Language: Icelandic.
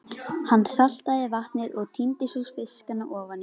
Hann saltaði vatnið og tíndi svo fiskana ofaní.